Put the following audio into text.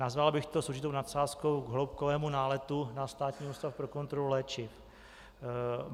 Nazval bych to s určitou nadsázkou - k hloubkovému náletu na Státní ústav pro kontrolu léčiv.